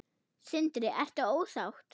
Sindri: Ertu ósátt?